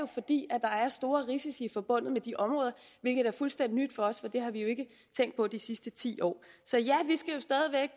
fordi der er store risici forbundet med de områder hvilket er fuldstændig nyt for os for det har vi jo ikke tænkt på de sidste ti år så